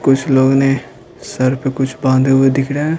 कुछ लोग नेह सर पे कुछ बांधे हुए दिख रहे हैं।